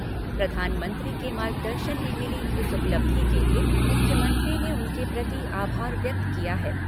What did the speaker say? प्रधानमंत्री के मार्गदर्शन में मिली इस उपलब्धि के लिए मुख्यमंत्री ने उनके प्रति आभार व्यक्त किया है।